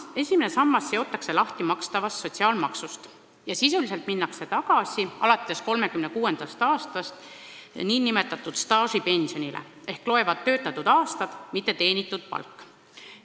Esimene sammas seotakse lahti makstavast sotsiaalmaksust ja sisuliselt minnakse tagasi 1936. aastal kehtestatud nn staažipensionile: loevad töötatud aastad, mitte teenitud palk.